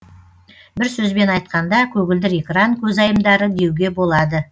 бір сөзбен айтқанда көгілдір экран көзайымдары деуге болады